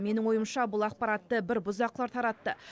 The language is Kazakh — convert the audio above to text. менің ойымша бұл ақпаратты бір бұзақылар таратты